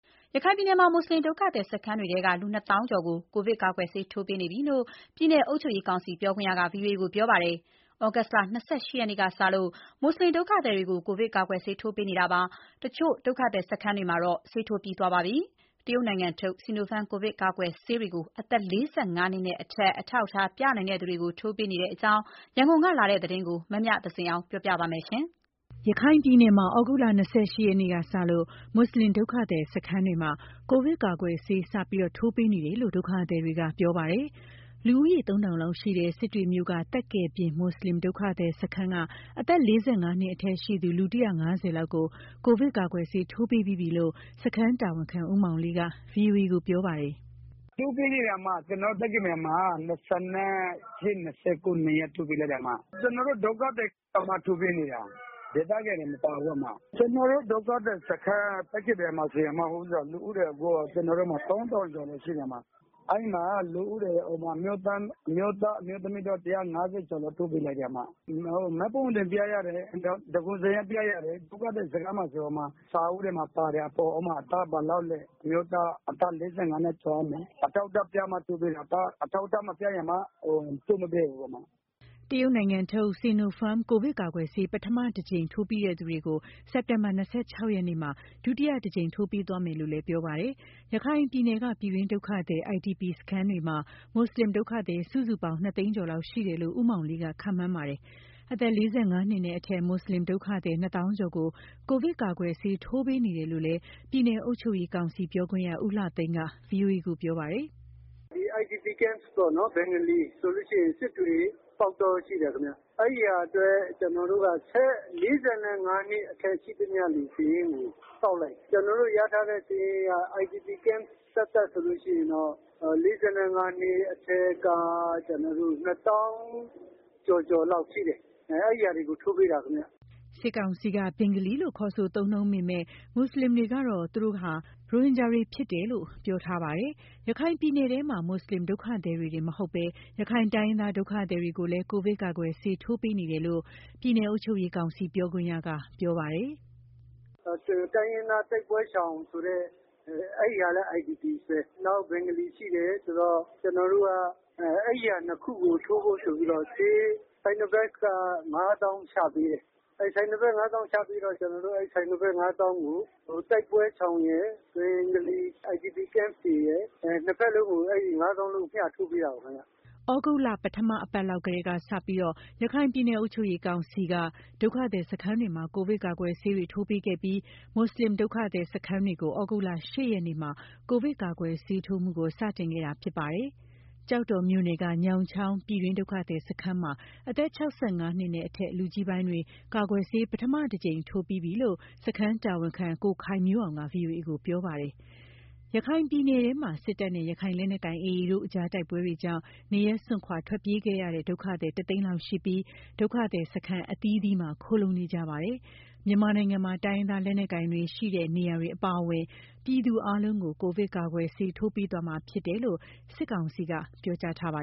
ရခိုင်ပြည်နယ်မှာ မွတ်ဆလင် ဒုက္ခသည်စခန်းတွေထဲက လူနှစ်သောင်းကျော်ကို ကိုဗစ်ကာကွယ်ဆေး ထိုးပေးနေပြီးလို့ ပြည်နယ် အုပ်ချုပ်ရေးကောင်စီ ပြောခွင့်ရက ဗွီအိုအေကို ပြောပါတယ်။ သြဂုတ်လ ၂၈ ရက်နေ့ကစတင်လို့ မွတ်ဆလင်ဒုက္ခသည်တွေကို ကိုဗစ်ကာကွယ်ဆေး ထိုးပေးနေတာမှာ တချို့ ဒုက္ခသည်စခန်းတွေမှာတော့ ဆေးထိုးပြီးသွားပါပြီ။ တရုတ်နိုင်ငံထုတ် Sinopharm ကိုဗစ်ကာကွယ်ဆေးတွေကို အသက် ၄၅ နှစ်နဲ့ အထက် အထောက်အထားပြနိုင်သူတွေကို ထိုးပေးနေတဲ့အကြောင်း ရန်ကုန်ကလာတဲ့သတင်းကို မမြသဇင်အောင်က ပြောပြပါမယ်။ ရခိုင်ပြည်နယ်မှာ သြဂုတ်လ ၂၈ ရက်နေ့ကစလို့ မွတ်ဆလင် ဒုက္ခသည်စခန်းတွေမှာ ကိုဗစ်ကာကွယ်ဆေး စတင် ထိုးပေးနေတယ်လို့ ဒုက္ခသည်တွေက ပြောပါတယ်။ လူဦးရေ ၃,၀၀၀ လောက်ရှိတဲ့ စစ်တွေမြို့ က သက်ကယ်ပြင် မွတ်ဆလင်ဒုက္ခသည်စခန်းက အသက် ၄၅ နှစ်အထက် ရှိသူ လူ ၁၅၀ လောက်ကို ကိုဗစ်ကာကွယ်ဆေး ထိုးပေးပြီးပြီလို့ စခန်းတာဝန်ခံ ဦးမောင်လေးကဗွီအိုအေကို ပြောပါတယ်။ “ထိုးပေးနေတယ်၊ ကျနော်တို့ သက်ကယ်ပြင်မှာ ၂၈၊ ၂၉ နှစ်ရက် ထိုးပေးလိုက်တယ် ကျနော်တို့ ဒုက္ခသည်သမားကိုပဲ ထိုးပေးနေတာ ဒေသခံတွေ မပါဘူး၊ ကျနော်တို့ ဒုက္ခသည်စခန်း သက်ကယ်ပြင်မှာဆိုရင် ကျနော်တို့မှာ လူဦးရေ ၃,၀၀၀ ကျော် ရှိတယ်၊ အဲ့မှာလူဦးရေ အမျိုးသား၊ အမျိုးသမီး ၁၅၀ လောက် ထိုးပေးလိုက်တယ်၊ မှတ်ပုံတင်ပြရတယ်၊ သန်းခေါင်းစာရင်းပြရတယ်။ ဒုက္ခသည်စခန်းမှာဆိုရင် စာအုပ်ထဲမှာပါတယ် ဥပမာ အသက်ဘယ်လောက်လဲ အမျိုးသားအသက် ၄၅ နှစ်ကျော်ရမယ်၊ အထောက်အထားပြမှ ထိုးပေးတယ်။ အထောက်အထားမပြရင် ထိုးမပေးဘူး။” တရုတ်နိုင်ငံထုတ် Sinopharm ကိုဗစ်ကာကွယ်ဆေး ပထမတကြိမ်ထိုးပြီးသူတွေကို စက်တင်ဘာလ ၂၆ ရက်နေ့ကျရင် ဒုတိယအကြိမ် ထိုးပေးသွားမယ်လို့ ပြောပါတယ်။ ရခိုင်ပြည်နယ်က ပြည်တွင်းဒုက္ခသည် IDP စခန်းတွေမှာ မွတ်ဆလင် ဒုက္ခသည် စုစုပေါင်း နှစ်သိန်းကျော်လောက်ရှိတယ်လို့ ဦးမောင်လေးက ခန့်မှန်းပါတယ်။ အသက် ၄၅ နှစ်အထက် မွတ်ဆလင်ဒုက္ခသည် နှစ်သောင်းကျော်ကို ကိုဗစ်ကာကွယ်ဆေး ထိုးပေးနေတာလို့ ပြည်နယ်အုပ်ချုပ်ရေးကောင်စီ ပြောခွင့်ရ ဦးလှသိန်းက ဗွီအိုအေကို ပြောပါတယ်။ “IDP camp ပေ့ါနော် ဘင်္ဂါလီဆိုလို့ရှိရင် စစ်တွေ၊ ပေါက်တော ရှိတယ်ခင်ဗျ အဲ့ဟာအတွက် ကျနော်တို့က အသက် ၄၅ နှစ်အထက် ရှိသမျှ လူစာရင်းကို ကောက်လိုက်တယ်၊ ကျနော်တို့ ရထားတဲ့ စာရင်းက IDP campသက်သက်ဆိုလို့ရှိရင်တော့ ၄၅ နှစ်အထက်က ကျနော်တို့ ၂၀,၀၀၀ ကျော်ကျော်လောက်ရှိတယ် အဲ့ဟာတွေကို ထိုးပေးတယ်ခင်ဗျ။” စစ်ကောင်စီက ဘင်္ဂလီလို့ ခေါ်ဆို သုံးနှုန်းပေမဲ့ မွတ်ဆလင်တွေကတော့ သူတို့ကတော့ သူတို့ဟာ ရိုဟင်ဂျာတွေဖြစ်တယ်လို့ ပြောထားပါတယ်။ ရခိုင်ပြည်နယ်ထဲမှာ မွတ်ဆလင်ဒုက္ခသည်တွေတင် မဟုတ်ဘဲ ရခိုင်တိုင်းရင်းသား ဒုက္ခသည်တွေကိုလည်း ကိုဗစ်ကာကွယ်ဆေး ထိုးပေးနေပါတယ်လို့ပြည်နယ်အုပ်ချုပ်ရေးကောင်စီ ပြောခွင့်ရက ပြောပါတယ်။ “တိုင်းရင်းသားတိုက်ပွဲရှောင်ဆိုတဲ့ အဲ့ဒီဟာလည်း IDP ပဲ၊ နောက် ဘင်္ဂါလီရှိတယ် ဆိုတော့ ကျနော်တို့က အဲ့ဒီဟာနှစ်ကို ထိုးဖို့ဆိုပြီးတော့ ဆေး Sinopharm က ငါးသောင်းချပေးတယ်၊ အဲ့ Sinopharm ချပေးတော့ ကျနော်တို့က အဲ့ Sinopharm ကို တိုက်ပွဲရှောင်ရယ် ဘင်္ဂါလီ IDP camp တွေရယ် နှစ်ဖက်လုံးကို အဲ့ဒါ ငါးသောင်းလုံးကို မျှထိုးပေးတာပေါ့ခင်ဗျ။” သြဂုတ်လ ပထအပတ်လောက်ကတည်းကစပြီး ရခိုင်ပြည်နယ်အုပ်ချုပ်ရေးကောင်စီက ဒုက္ခသည်စခန်းတွေမှာ ကိုဗစ်ကာကွယ်ဆေးတွေ ထိုးပေးခဲ့ပြီး၊ မွတ်ဆလင်ဒုက္ခသည်စခန်းတွေကို သြဂုတ်လ ၈ ရက်နေ့မှာ ကိုဗစ်ကာကွယ်ဆေးထိုးမှုကို စတင်ခဲ့တာဖြစ်ပါတယ်။ ကျောက်တော်မြို့နယ်က ညောင်ချောင်း ပြည်တွင်းဒုက္ခသည်စခန်းမှာ အသက် ၆၅ နှစ်နဲ့အထက် လူကြီးပိုင်းတွေ ကာကွယ်ဆေး ပထမအကြိမ် ထိုးပြီးသွားပြီလို့ စခန်းတာဝန်ခံ ကိုခိုင်မျိုးအောင်က ဗွီအိုအေကို ပြောထားပါတယ်။ ရခိုင်ပြည်နယ်ထဲမှာ စစ်တပ်နဲ့ ရခိုင်လက်နက်ကိုင် AA တို့ကြား တိုက်ပွဲတွေကြောင့် နေရပ်စွန့်ထွက်ပြေးခဲ့ရတဲ့ ဒုက္ခသည် ၁ သိန်းလောက်ရှိပြီး ဒုက္ခသည်စခန်းအသီးသီးမှာ ခိုလှုံနေကြပါတယ်။ မြန်မာနိုင်ငံမှာ တိုင်းရင်းသားလက်နက်ကိုင်တွေရှိတဲ့ နေရာတွေကအပါအဝင် ပြည်သူအားလုံးကို ကိုဗစ်ကာကွယ်ဆေး ထိုးပေးသွားမှာဖြစ်တယ်လို့ စစ်ကောင်စီက ပြောကြားထားပါ